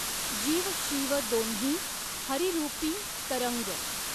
जीव शिव दॊन्ही हरिरूपीं तरंग.